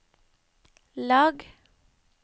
lag